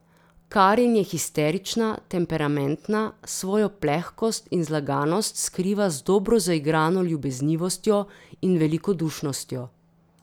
Karin je histerična, temperamentna, svojo plehkost in zlaganost skriva z dobro zaigrano ljubeznivostjo in velikodušnostjo.